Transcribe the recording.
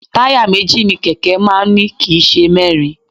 Táyà méjì ni kẹ̀kẹ́ máa ń ní kì í ṣe mẹ́rin